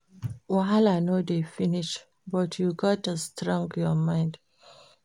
Wahala no dey finish, but you gats strong your mind.